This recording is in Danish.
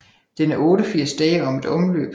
Den er 88 dage om et omløb